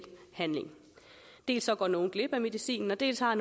handling dels går nogle glip af medicinen dels har